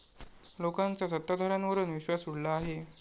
लोकांचा सत्ताधाऱ्यांवरुन विश्वास उडला आहे.